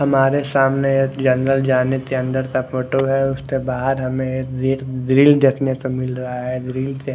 हमारे सामने एक जंगल जाने के अंदर का फोटो है उसके बहार हमे एक गी-ग्रिल देखने को मिल रहा है ग्रिल के--